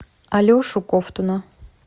алешу ковтуна